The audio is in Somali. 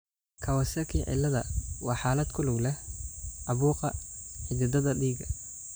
Kawasaki ciladha waa xaalad ku lug leh caabuqa xididdada dhiigga.